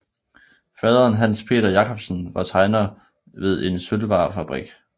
Faderen Hans Peter Jacobsen var tegner ved en sølvvarefabrik